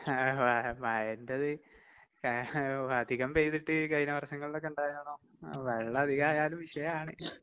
മഴേന്റെത് അധികം പെയ്തിട്ട് കഴിഞ്ഞ വർഷങ്ങളിലൊക്കെ ഇണ്ടായോണം വെള്ളം അധികായാലും വിഷയാണ്.